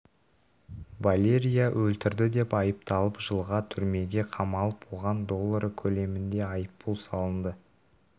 валерия өлтірді деп айыпталып жылға түрмеге қамалып оған доллары көлемінде айыппұл салынды